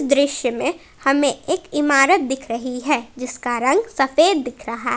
दृश्य में हमें एक इमारत दिख रही है जिसका रंग सफेद दिख रहा है।